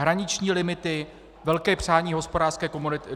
Hraniční limity - velké přání Hospodářské komory.